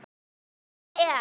Hún er.